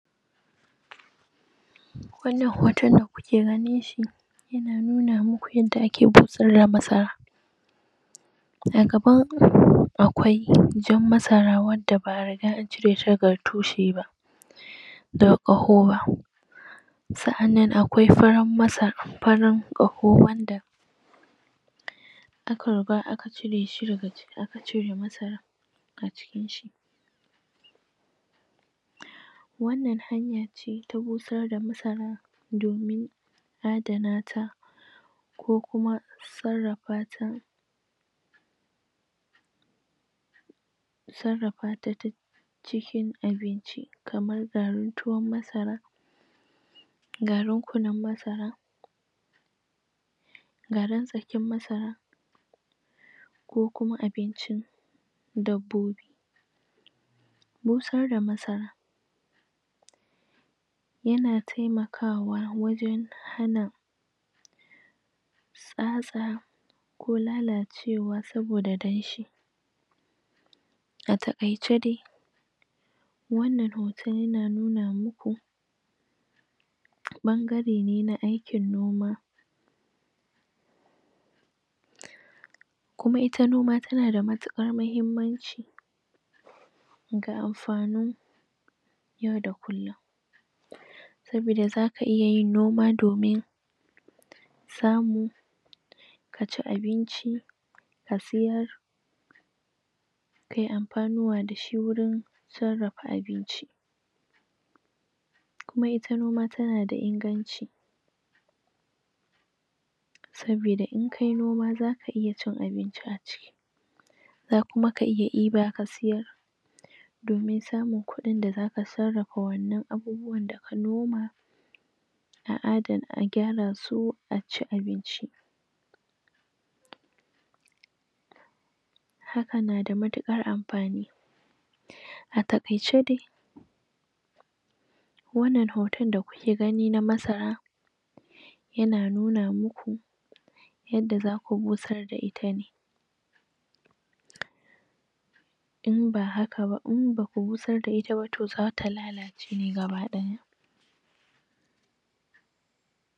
wannnan hoton da kuke ganinshi yana nuna muku yande ake busar da masara a gaba akwai jan masara wanda ba'a riga ancireshi daga tushe ba da ƙaho b sa'annan akwai farar masara farar ƙaho wanda aka riga aka cireshi daga cire masara ajikin shi wannnan hanya ce ta busar da masara domin adana ta ko kuma sarrafata sarrafata cikin abinci kamar garin tuwon masara garin kunun masara garin tsakin masara ko kuma abincin dabbobi busar da masarar yana temakawa wajen hana tsatsa ko lalacewa saboda damshi a takaice de wannan hoton yana nuna muku ɓangare ne na aikin noma kuma ita noma tana da matukar muhimmanci ga amfani yau da kullum saboda zaka iya yin domin samu kaci abinci kaci abinci ka siyar kayi amfuwa dashi wajen sarrafa abinci kuma ita noma tana da inganci saboda in kayi noma zaka iya cin abinci aciki za kuma ka iya diba ka siyar domin samun kudin zaka sarrafa wannan abubwan da ka noma noma a adana agyara su aci abinci hakan nada matukar amfani a takaice dai wannnan hoton da kuke gani na masara yana nuna muku yadda zaku busar da itane in ba haka ba in baku busar da ita ba zata lalace gaba daya